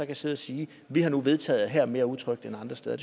kan sidde og sige vi har nu vedtaget at her er mere utrygt end andre steder